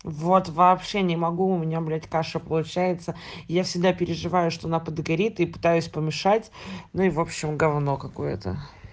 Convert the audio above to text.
вот вообще не могу у меня блять каша получается я всегда переживаю что она подгорит и пытаюсь помешать но и в общем гавно какое-то